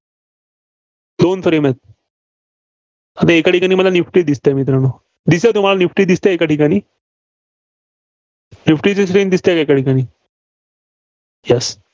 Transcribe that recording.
दोन frame आहेत. आता एका ठिकाणी मला निफ्टी दिसतेय मित्रांनो. दिसतेय तुम्हाला निफ्टी, एका ठिकाणी. निफ्टीची screen दिसतेय का एका ठिकाणी? Yes